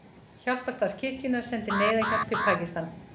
Hjálparstarf kirkjunnar sendir neyðarhjálp til Pakistan